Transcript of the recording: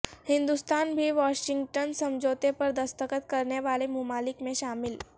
ہندوستان بھی واشنگٹن سمجھوتے پر دستخط کرنے والے ممالک میں شامل